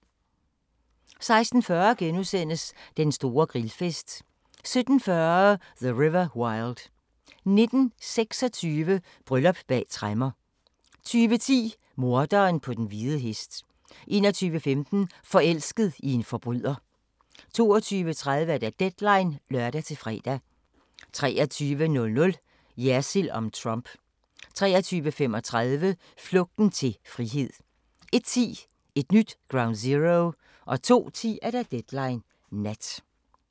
16:40: Den store grillfest * 17:40: The River Wild 19:26: Bryllup bag tremmer 20:10: Morderen på den hvide hest 21:15: Forelsket i en forbryder 22:30: Deadline (lør-fre) 23:00: Jersild om Trump 23:35: Flugten til frihed 01:10: Et nyt Ground Zero 02:10: Deadline Nat